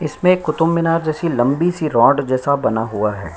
इसमें कुतुबमीनार जैसी लम्बी सी रॉड जैसा बना हुआ है।